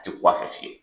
A ti ku a fɛ fiyewu